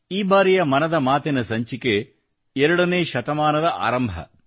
ಈ ಬಾರಿಯ ಮನದ ಮಾತಿನ ಸಂಚಿಕೆ 2ನೇ ಶತಕದ ಆರಂಭವಾಗಿದೆ